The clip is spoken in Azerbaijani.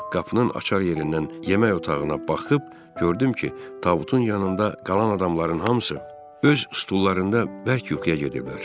Qapının açar yerindən yemək otağına baxıb gördüm ki, tabutun yanında qalan adamların hamısı öz stullarında bərk yuxuya gediblər.